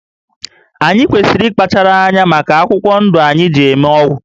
Anyị kwesịrị ịkpachara anya maka akwụkwọ ndụ anyị ji eme ọgwụ